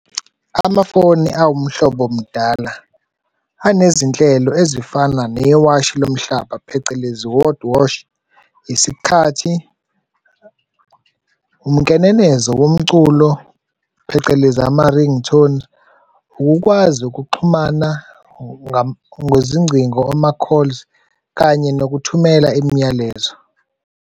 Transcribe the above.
Amafoni awumhlobomdala anezinhlelo ezifana newashi lomhlaba, phecelezi world watch, isikhathi, umkenenezo womculo, phecelezi ama-ringtone, ukukwazi ukuxhumana ngezincingo, ama-calls kanye nokuthumela imiyalezo.